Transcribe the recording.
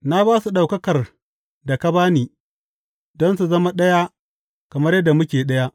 Na ba su ɗaukakar da ka ba ni, don su zama ɗaya kamar yadda muke ɗaya.